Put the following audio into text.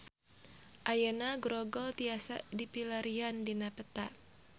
Ayeuna Grogol tiasa dipilarian dina peta